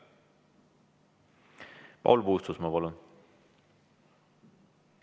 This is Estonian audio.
Paul Puustusmaa, palun!